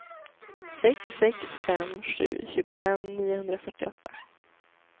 sex sex fem sju tjugofem niohundrafyrtioåtta